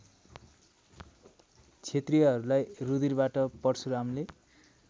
क्षत्रियहरूलाई रुधिरबाट परशुरामले